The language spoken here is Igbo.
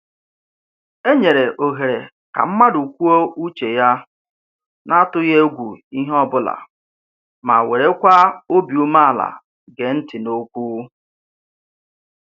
E nyere ohere ka mmadụ kwuo uche ya na-atụghị egwu ihe ọbụla ma werekwa obi ume ala gee ntị n'okwu